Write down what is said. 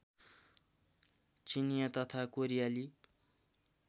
चिनियाँ तथा कोरियाली